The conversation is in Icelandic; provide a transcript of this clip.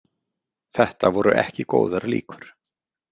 Þetta voru ekki góðar líkur.